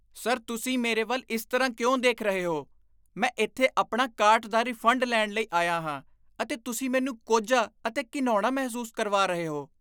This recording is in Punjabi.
ਸਰ ਤੁਸੀਂ ਮੇਰੇ ਵੱਲ ਇਸ ਤਰ੍ਹਾਂ ਕਿਉਂ ਦੇਖ ਰਹੇ ਹੋ? ਮੈਂ ਇੱਥੇ ਆਪਣਾ ਕਾਟ ਦਾ ਰਿਫੰਡ ਲੈਣ ਲਈ ਆਇਆ ਹਾਂ ਅਤੇ ਤੁਸੀਂ ਮੈਨੂੰ ਕੋਝਾ ਅਤੇ ਘਿਣਾਉਣਾ ਮਹਿਸੂਸ ਕਰਵਾ ਰਹੇ ਹੋ।